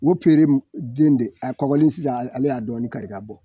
O pere n den de a kɔgɔlen sisan ale y'a dɔɔni kari k'a bɔ.